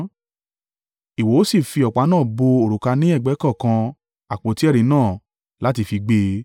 Ìwọ ó sì fi ọ̀pá náà bọ òrùka ní ẹ̀gbẹ́ kọ̀ọ̀kan àpótí ẹ̀rí náà láti fi gbé e.